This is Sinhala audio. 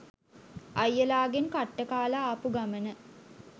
අයියලාගෙන් කට්ට කාල ආපු ගමන